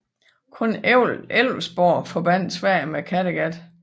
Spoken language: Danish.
Kun Älvsborg forbandt Sverige med Kattegat